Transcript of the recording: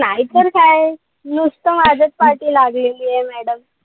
अरे नाहीतर काय. नुसतं माझ्याच पाठी लागलेलीय madam.